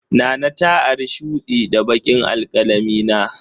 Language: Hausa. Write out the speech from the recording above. Nana ta ari shudi da baƙin alkalamina.